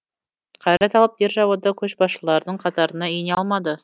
қайрат алып державада көшбасшылардың қатарына ене алмады